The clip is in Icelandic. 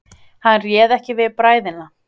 Hann réð ekki við bræðina.